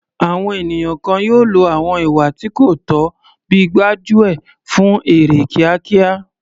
Àwọn ènìyàn kan yóò lo àwọn ìwà tí kò tọ́ bíi gbájú ẹ̀ fún èrè kíákíá.